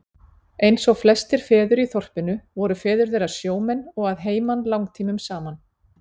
Eins og flestir feður í þorpinu voru feður þeirra sjómenn og að heiman langtímum saman.